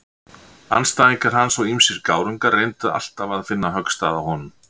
Andstæðingar hans og ýmsir gárungar reyndu alltaf að finna höggstað á honum.